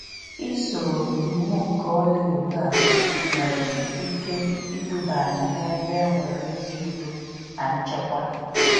isoo iwu nke ọlaedo a nwere ike iduba anyị n'ebe enwere ezi Udo na nchekwa.